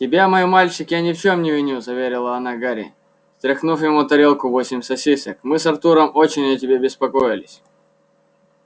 тебя мой мальчик я ни в чём не виню заверила она гарри стряхнув ему на тарелку восемь сосисок мы с артуром очень о тебе беспокоились